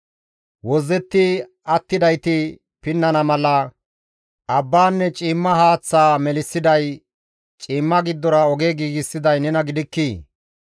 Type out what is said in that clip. Wozzetti attidayti pinnana mala, abbaanne ciimmaa haaththaa melissiday, ciimma giddora oge giigsiday nena gidikkii?